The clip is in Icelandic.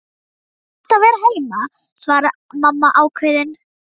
Þú átt að vera heima, svaraði mamma ákveðin.